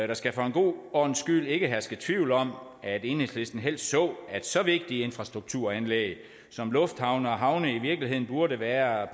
der skal for en god ordens skyld ikke herske tvivl om at enhedslisten helst så at så vigtige infrastrukturanlæg som lufthavne og havne i virkeligheden burde være